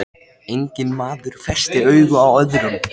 Hann var þarna lifandi kominn, það voru engar ofsjónir núna!